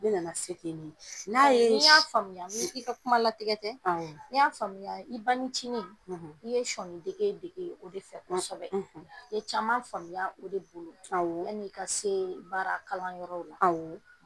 Ne nana se ke ni n'a ye s ni n y'a faamuya i ka kumalatigɛ tɛ awɔ ni n y'a faamuya i banicinin i ye sɔɔnidege dege o de fɛ kosɛbɛ i ye caman faamuya o de bolo awɔ yan'i ka see baarakalanyɔrɔw la awɔ.